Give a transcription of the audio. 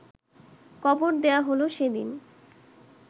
কবর দেওয়া হল সেদিন